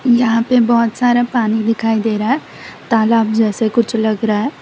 यहां पे बहुत सारा पानी दिखाई दे रहा है तालाब जैसे कुछ लग रहा है।